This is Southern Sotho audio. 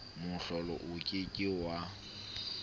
mohlolo o ke ke wa